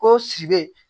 Ko siri